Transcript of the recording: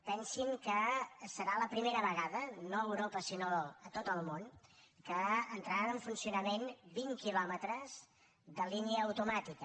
pensin que serà la primera vegada no a europa sinó a tot el món que entraran en funcionament vint quilòmetres de línia automàtica